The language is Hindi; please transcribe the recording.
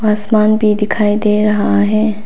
आसमान भी दिखाई दे रहा है।